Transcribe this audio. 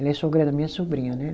Ela é sogra da minha sobrinha, né?